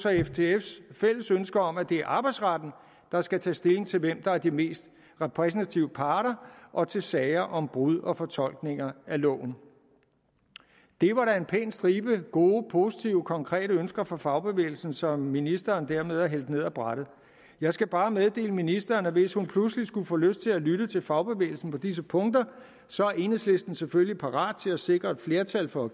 og ftfs fælles ønske om at det er arbejdsretten der skal tage stilling til hvem der er de mest repræsentative parter og til sager om brud på og fortolkninger af loven det var da en pæn stribe gode positive konkrete ønsker fra fagbevægelsen som ministeren dermed har hældt ned af brættet jeg skal bare meddele ministeren at hvis hun pludselig skulle få lyst til at lytte til fagbevægelsen på disse punkter så er enhedslisten selvfølgelig parat til at sikre et flertal for at